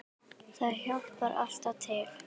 Það hjálpar alltaf til.